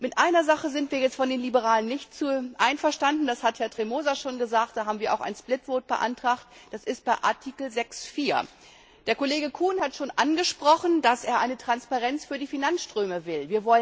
Mit einer Sache sind wir von den Liberalen jetzt nicht einverstanden das hat Herr Tremosa schon gesagt, dazu haben wir auch eine getrennte Abstimmung beantragt das ist bei Artikel 6 Absatz 4. Der Kollege Kuhn hat schon angesprochen, dass er eine Transparenz für die Finanzströme will.